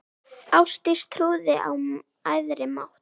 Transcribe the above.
Ástdís trúði á æðri mátt.